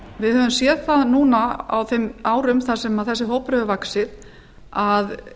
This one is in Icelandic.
við höfum séð núna á þessum árum sem þessi hópur hefur vaxið að